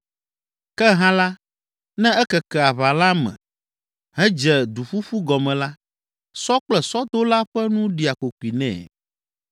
Ke hã la, ne ekeke aʋala me, hedze duƒuƒu gɔme la, sɔ kple sɔdola ƒe nu ɖia kokoe nɛ.